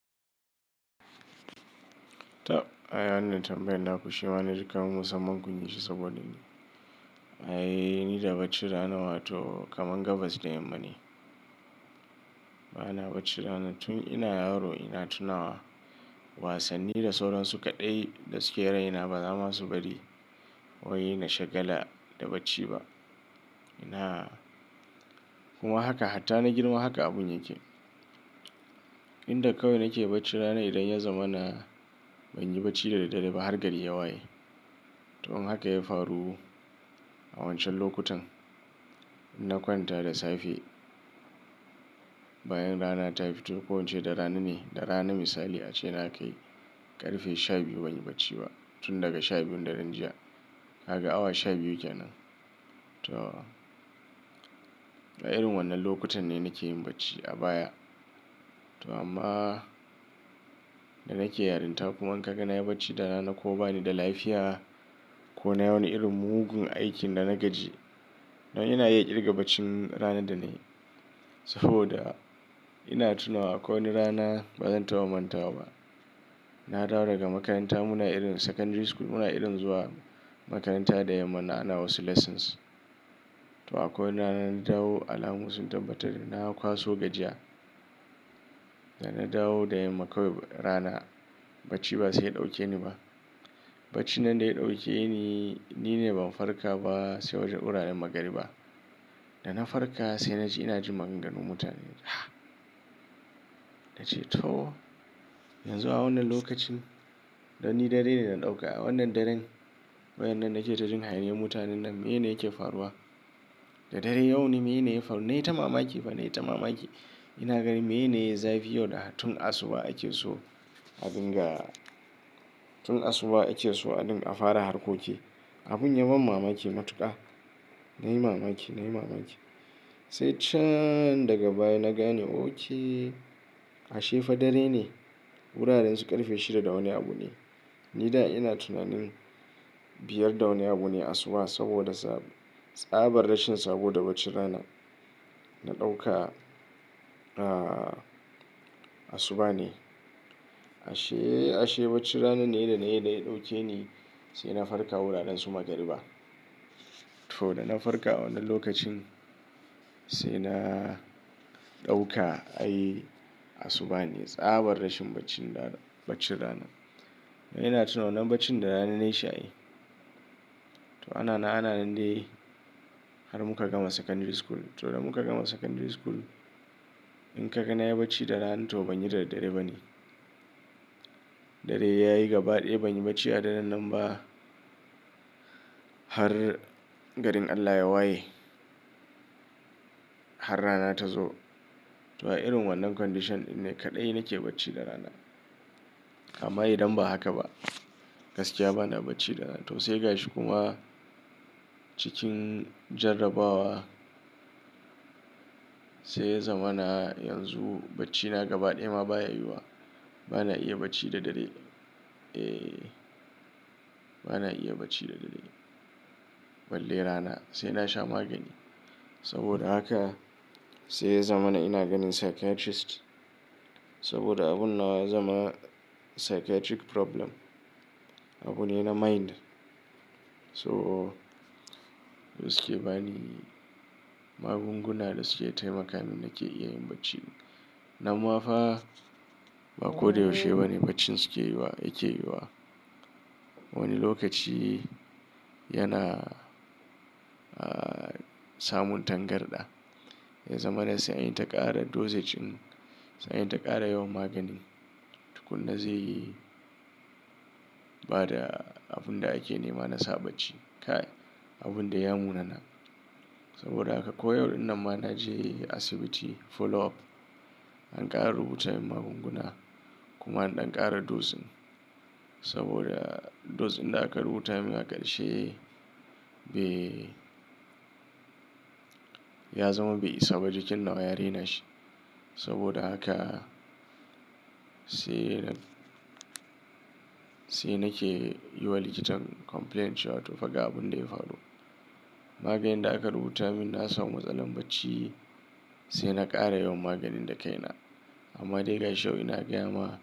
To, ai wannan tambayan na ku shima na ji kaman musamman kun yishi saboda ni, ai, ni da baccin rana wato, kaman gabas da yamma ne. Ba na baccin rana. Tun ina yaro ina tunawa, wasanni da sauran su kaɗai da suke raina, ba za ma su bari, wai na shagala da bacci ba. Ina, kuma haka hatta na girma haka abun yake. Inda kawai nake baccin rana idan ya zama na, ban yi bacci da daddare ba har gari ya waye. To in haka ya faru, a wancan lokutan, na kwanta da safe, bayan rana ta fito ko ince da rana ne, da rana misali ace na kai ƙarfe sha biyu ban yi bacci ba. Tun daga sha biyun daren jiya, ka ga awa sha biyu kenan. To, a irin wannan lokutan ne nake yin bacci, a baya. To amma, da nake yarinta kuma in ka ga na yi bacci da rana ko ba ni da lafiya, ko nai wani irin mugun aikin da na gaji, dan ina iya ƙirga bacin ranar da na yi, saboda, ina tunawa akwai wani rana ba zan taɓa mantawa ba. Na dawo daga makaranta muna irin secondary school, muna irin zuwa makaranta da yamman nan, ana wasu lessons. To akwai wani rana na dawo, alamu sun tabbatar da na kwaso gajiya. Da na dawo da yamma kawai rana bacci ba sai ya ɗauke ni ba. Bacci nan da ya ɗauke ni, ni ne ban farka ba, sai wajen wuraren magariba. Da na farka, sai na ji ina jin maganganun mutane, na ce to, yanzu a wannan lokacin, dan ni dare ne na ɗauka a wannan daren? Waƴannan nake ta jin hayaniyan mutanen nan, mene yake faruwa? Da daren yau ne mene ya faru? Na yi ta mamaki fa na yi ta mamaki. Ina ganin mene ya yi zafi yau da tun asuba ake so a dinga, tun asuba ake so adin, a fara harkoki. Abun ya ban mamaki matuƙa. Na yi mamaki, na yi mamaki. Sai can daga baya na gane oke, ashe fa dare ne. Wuraren su ƙarfe shida da wani abu ne. Ni da ina tunanin, biyar da wani abu ne asuba, saboda sab, tsaban rashin sabo da baccir rana na ɗauka, ah, asuba ne. Ashe, ashe bacci ranan ne da na yi da ya ɗauke ni, sai na farka wuraren su magariba. To da na farka a wannan lokacin, sai na ɗauka ai asuba ne, tsabar rashin bacci rana, bacci rana. Ina tuna wanan baccin da rana na yi shi ai. To ana na ana nan dai, har muka gama secondary school. To da muka gama secondary school, in ka ga na yi bacci da rana to ban yi da dare ba ne. Dare yayi gaba ɗaya ban yi bacci a daren nan ba, har garin Allah ya waye. Har rana ta zo. To a irin wannan condition ɗin ne kaɗai nake bacci da rana. Amma idan ba haka ba, gaskiya bana bacci da rana. To sai gashi kuma, cikin jarrabawa, sai ya zama na yanzu, bacci na gaba ɗaya ma baya yiwuwa. Bana iya bacci da dare. Eh, bana iya bacci da dare. Balle rana, sai na sha magani. Saboda haka sai ya zama na ina ganin psychiatrist, saboda abun nawa ya zama psychiatric problem. Abune na mind. So, suke bani magunguna da suke taimaka min nake iya yin bacci. Namma fa, ba ko da yaushe bane baccin suke yi wa yake yi wa. Wani lokaci yana, ah, samun tangarɗa. Ya zama na sai in ta ƙara dosage in, sai in ta ƙara yawan magani. Tukunna zai yi bada abun da ake nema na sa bacci, kai! Abun dai ya munana. Saboda haka ko yau ɗin nan ma na je asibiti, follow up. An ƙara rubuta mun magunguna, kuma an ɗan ƙara dose saboda dose da aka rubuta mun aka ƙarshe, be ya zama bai isa ba, jikin na ya renashi. Saboda haka, sai na, sai nake yi wa likitan complaint cewa, to fa ga abun da ya faru. Maganin da aka rubuta mun na sa mu matsalan bacci, sai na ƙara yawan maganin da kai na. Amma dai gashi yau ina gaya ma.